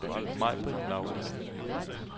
Majbritt Lauritzen